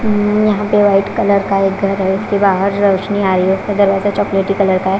यहां पे white colour का एक घर है उसके बाहर रोशनी आ रही है उसका दरवाजा चॉकलेटी कलर का है।